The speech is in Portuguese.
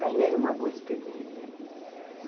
ganhei uma boa experiência.